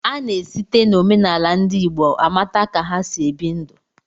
Ana-esite n'omenala ndị Igbo amata ka ha si ebi ndụ.